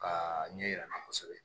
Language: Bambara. Ka ɲɛ yira an na kosɛbɛ